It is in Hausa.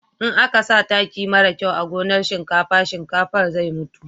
in a ka sa taki mara kyau a gonan shinkafa, shinkafan zai mutu